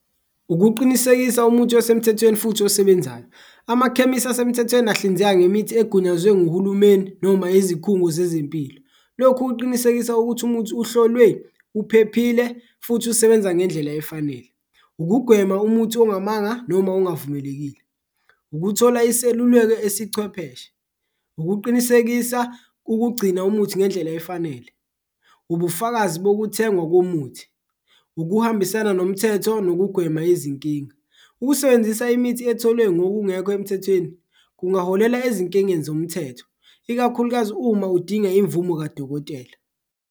Ukuqinisekisa umuthi osemthethweni futhi osebenzisana amakhemisi asemthethweni ahlinzeka ngemithi egunyazwe ngohulumeni noma izikhungo zezempilo, lokhu kuqinisekisa ukuthi umuthi uhlolwe, uphephile futhi usebenza ngendlela efanele, ukugwema umuthi ongamanga noma engavumelekile. Ukuthola iseluleko esichwepheshe, ukuqinisekisa ukugcina umuthi ngendlela efanele, ubufakazi bokuthengwa komuthi, ukuhambisana nomthetho nokugwema izinkinga. Ukusebenzisa imithi etholwe ngokungekho emthethweni kungaholela ezinkingeni zomthetho, ikakhulukazi uma udinga imvumo kadokotela.